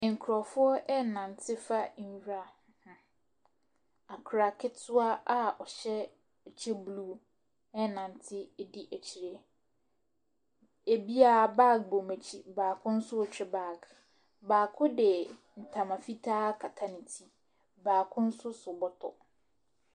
Nkurɔfoɔ renante fa nwira ho. Akwadaa ketewa a ɔhyɛ ɛkyɛ blue renante di akyire. Ɛbiara, bag bɔ wɔn akyi, ɛbi nso retwe bag. Baako de ntoma fitaa akata ne ti. Baako nso so bɔtɔ.